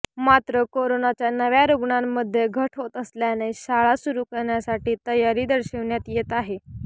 मात्र करोनाच्या नव्या रुग्णांमध्ये घट होत असल्याने शाळा सुरू करण्यास तयारी दर्शविण्यात येत आहे